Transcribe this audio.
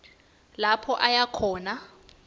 lapho aya khona